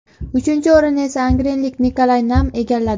Uchinchi o‘rinni esa angrenlik Nikolay Nam egalladi.